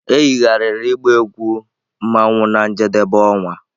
E yigharịrị ịgba egwu mmanwu na njedebe ọnwa